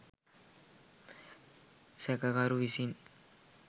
සැකකරු විසින්